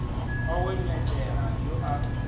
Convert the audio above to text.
wa go nyatšega yo a